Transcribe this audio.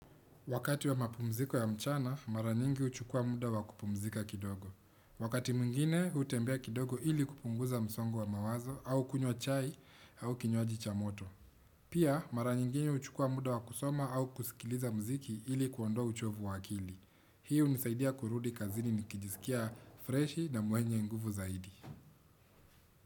Wakati wa mapumziko ya mchana, mara nyingi uchukua muda wa kupumzika kidogo. Wakati mwingine, utembea kidogo ili kupunguza msongo wa mawazo au kunywa chai au kinywaji cha moto. Pia, mara nyingi uchukua muda wa kusoma au kusikiliza mziki ili kuondoa uchovu wa akili. Hii unisaidia kurudi kazini nikijisikia freshi na mwenye nguvu zaidi.